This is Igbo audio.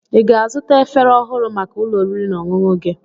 Ị ga-azụta efere ọhụrụ maka ụlọ oriri na ọṅụṅụ gị?